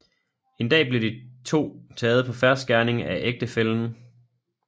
En dag blev de to taget på fersk gerning af ægtefællen